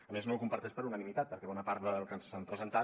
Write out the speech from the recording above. a més no ho comparteix per unanimitat perquè bona part del que ens han presentat